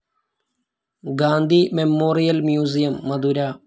Gandhi memorial museum, Madurai